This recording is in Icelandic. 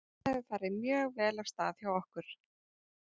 Þetta hefur farið mjög vel af stað hjá okkur.